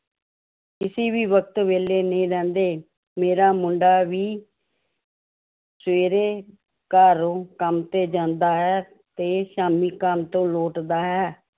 ਕਿਸੇ ਵੀ ਵਕਤ ਵਿਹਲੇ ਨਹੀਂ ਰਹਿੰਦੇ ਮੇਰਾ ਮੁੰਡਾ ਵੀ ਸਵੇਰੇ ਘਰੋਂ ਕੰਮ ਤੇ ਜਾਂਦਾ ਹੈ ਤੇ ਸ਼ਾਮੀ ਕੰਮ ਤੋਂ ਲੋਟਦਾ ਹੈ l